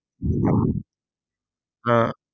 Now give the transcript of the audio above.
ആഹ്